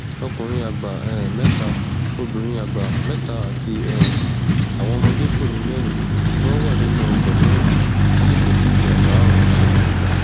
ọkùnrin àgbà um mẹta obìnrin àgbà mẹta àti um àwọn ọmọdékùnrin mẹrin ni wọn wà nínú ọkọ náà lásìkò tíjágbá ọhún ṣẹlẹ